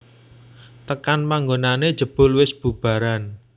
Tekan panggonané jebul wis bubaran